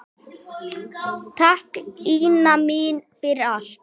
Takk, Ína mín, fyrir allt.